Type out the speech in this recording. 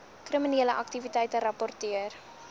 kriminele aktiwiteite rapporteer